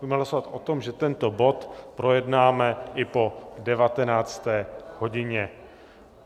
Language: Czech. Budeme hlasovat o tom, že tento bod projednáme i po 19. hodině.